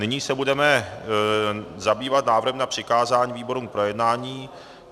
Nyní se budeme zabývat návrhem na přikázání výborům k projednání.